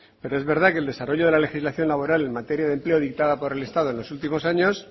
pero es verdad que el desarrollo de la legislación laboral en materia de empleo dictada por el estado en los últimos años